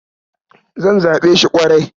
Zan zaɓe shi ƙwarai.